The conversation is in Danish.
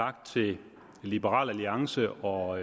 tak til liberal alliance og